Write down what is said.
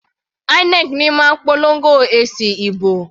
INEC ní máa ń polongo èsì ìbò.